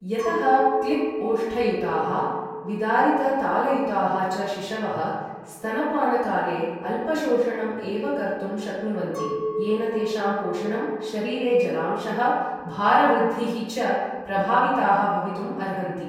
यतः क्लिप् ओष्ठयुताः, विदारित तालुयुताः च शिशवः स्तनपानकाले अल्पशोषणं एव कर्तुं शक्नुवन्ति येन तेषां पोषणं, शरीरे जलांशः, भार वृद्धिः च प्रभाविताः भवितुम् अर्हन्ति।